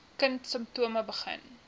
kind simptome begin